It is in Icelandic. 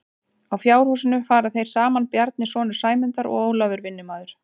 Að fjárhúsinu fara þeir saman Bjarni sonur Sæmundar og Ólafur vinnumaður.